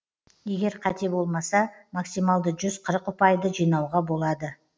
егер қате болмаса максималды жүз қырық ұпайды жинауға болады